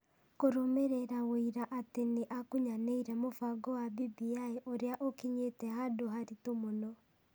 kũrũmĩrĩra wũira atĩ nĩ akunyanĩire mũbango wa BBI ũrĩa ũkinyĩtĩ handũ haritũ mũno.